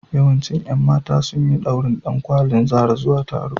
Yawancin ƴan mata sun yi ɗaurin ɗankwalin Zara zuwa taro.